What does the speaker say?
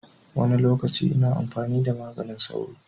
Wani lokaci ina amfani da maganin sauro.